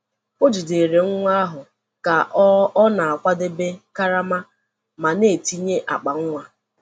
O jidere nwa ahụ ka ọ ọ na-akwadebe karama ma na-etinye akpa nwa.